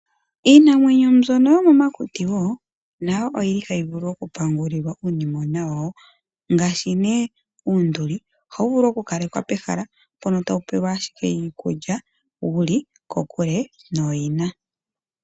Iinamwenyo mbyono yomo makuti wo nayo oyili hayi vulu oku pungulilwa uunimona wayo. Ngaashi nee uunduli, ohawu vulu oku kalekwa pehala mpono tawu pelwa ashike iikulya wuli kokule nooyina.